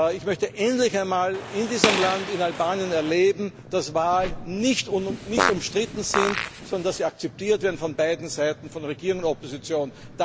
Ich möchte endlich einmal in diesem Land, in Albanien, erleben, dass Wahlen nicht umstritten sind, sondern dass sie akzeptiert werden von beiden Seiten, von Regierung und Opposition.